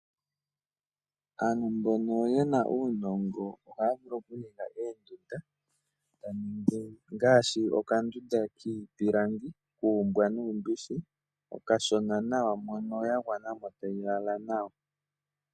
Aantu mboka ye na uunonga ohaya vulu okuninga oondunda ngaashi dhoombwa nuumbishi miipilangi okashona nawa.